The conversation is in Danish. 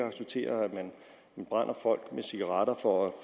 acceptere at man brænder folk med cigaretter for at